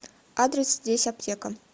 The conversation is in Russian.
адрес здесь аптека